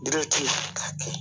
k'a kɛ